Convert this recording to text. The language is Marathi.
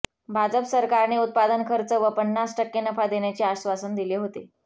भाजप सरकारने उत्पादन खर्च व पन्नास टक्के नफा देण्याचे आश्वासन दिले होते